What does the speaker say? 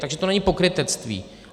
Takže to není pokrytectví.